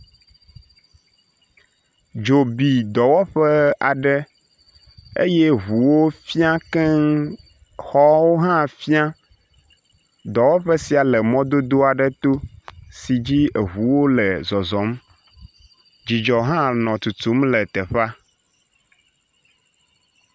Dzo bi dɔwɔƒe aɖe eye ŋuwo fia keŋ, xɔwo hã fia. Dɔwɔƒe sia le mɔdodo aɖe to si dzi eŋuwo le zɔzɔm. Dzudzɔ hã nɔ tutum le teƒea.